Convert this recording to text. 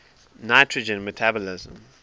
nitrogen metabolism